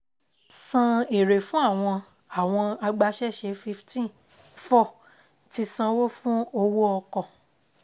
san èrè fún àwọn àwọn agbaṣẹ́ṣe fifteen, four Ti sanwó fún owó-ọkọ̀